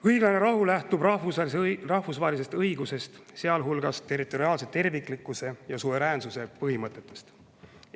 Õiglane rahu lähtub rahvusvahelisest õigusest, sealhulgas territoriaalse terviklikkuse ja suveräänsuse põhimõttest.